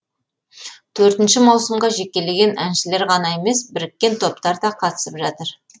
төртінші маусымға жекелеген әншілер ғана емес біріккен топтар да қатысып жатыр